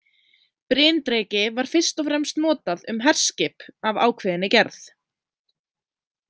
Bryndreki var fyrst og fremst notað um herskip af ákveðinni gerð.